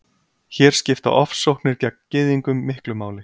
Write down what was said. Hér skipta ofsóknir gegn Gyðingum miklu máli.